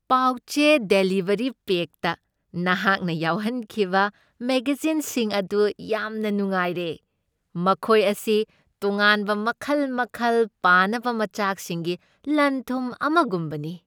ꯄꯥꯎ ꯆꯦ ꯗꯦꯂꯤꯚꯔꯤ ꯄꯦꯛꯇ ꯅꯍꯥꯛꯅ ꯌꯥꯎꯍꯟꯈꯤꯕ ꯃꯦꯒꯖꯤꯟꯁꯤꯡ ꯑꯗꯨ ꯌꯥꯝꯅ ꯅꯨꯡꯉꯥꯏꯔꯦ꯫ ꯃꯈꯣꯏ ꯑꯁꯤ ꯇꯣꯉꯥꯟꯕ ꯃꯈꯜ ꯃꯈꯜ ꯄꯥꯅꯕ ꯃꯆꯥꯛꯁꯤꯡꯒꯤ ꯂꯟꯊꯨꯝ ꯑꯃꯒꯨꯝꯕꯅꯤ꯫